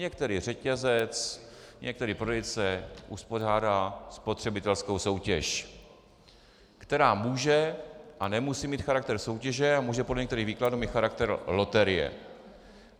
Některý řetězec, některý prodejce uspořádá spotřebitelskou soutěž, která může a nemusí mít charakter soutěže a může podle některých výkladů mít charakter loterie.